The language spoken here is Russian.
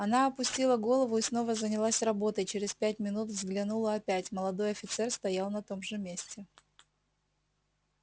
она опустила голову и снова занялась работой через пять минут взглянула опять молодой офицер стоял на том же месте